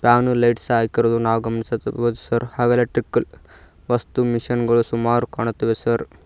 Fan lights ಹಾಕಿರುವುದನ್ನು ನಾವು ಗಮನಿಸುತ್ತಿರಬಹುದು ಸರ್ ಆಗಲೇ ಟಿಕ್ಕಲ್ ವಸ್ತು ಮಿಷಿನ್ ಗಳು ಸುಮಾರು ಕಾಣುತ್ತಿವೆ ಸರ್.